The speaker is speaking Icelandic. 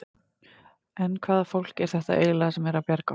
En hvaða fólk er þetta eiginlega sem er að bjarga okkur?